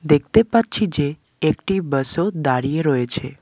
দেখতে পাচ্ছি যে একটি বাসও দাঁড়িয়ে রয়েছে।